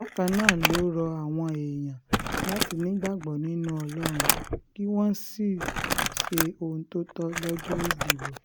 bákan náà ló rọ àwọn èèyàn láti um nígbàgbọ́ nínú ọlọ́run kí wọ́n sì um ṣe ohun tó tọ́ lọ́jọ́ ìdìbò